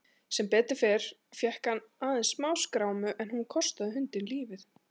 Sem betur fór fékk hann aðeins smáskrámu en hún kostaði hundinn lífið.